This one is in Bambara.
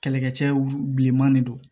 Kɛlɛkɛcɛw bilenman de don